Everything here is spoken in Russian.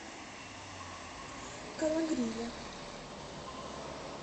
кологриве